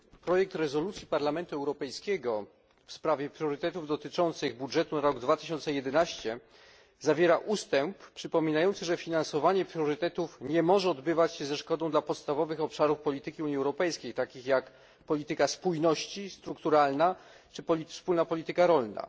Projekt rezolucji Parlamentu Europejskiego w sprawie priorytetów dotyczących budżetu na rok 2011 zawiera ustęp przypominający, że finansowanie priorytetów nie może odbywać się ze szkodą dla podstawowych obszarów polityki Unii Europejskiej, takich jak polityka spójności, strukturalna czy wspólna polityka rolna.